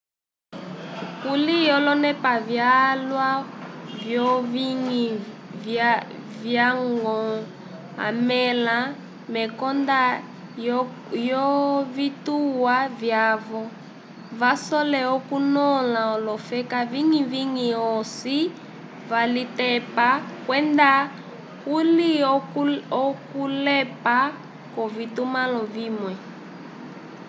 kuli olonepa vyalwa vyowiñgi valya-ñgo amẽla mekonda lyovituwa vyavo vasole okunõla olofela viñgi-viñgi osi yalitepa kwenda kuli okulepa kwovitumãlo vimwe